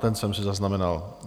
Ten jsem si zaznamenal.